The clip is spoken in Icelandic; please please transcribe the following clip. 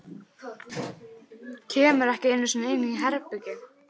Kemur ekki einu sinni inn í herbergið.